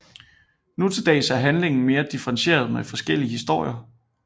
Nu til dags er handlingen mere differentieret med forskellige historier